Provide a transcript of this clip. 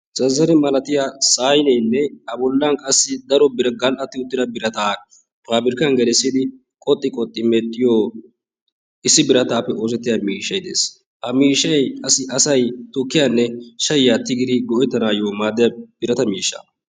Zazzare malatiya sayneenne abollan qassi daro gall'atti uttida birataa fubirkkan gelissidi qoxxi qoxxi medhiyoo issi birataappe oosetiyaa miishshay dess. Ha miishshay qassi asay tukkiyaanne shayiyaa tigidi go'ettanaayyoo maaddiyaa birata miishsha.